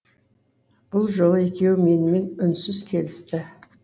бұл жолы екеуі менімен үнсіз келісті